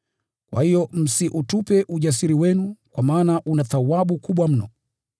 Kwa hiyo msiutupe ujasiri wenu, kwa maana una thawabu kubwa mno.